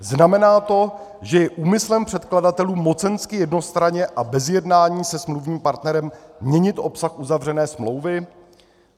Znamená to, že je úmyslem předkladatelů mocensky, jednostranně a bez jednání se smluvním partnerem měnit obsah uzavřené smlouvy?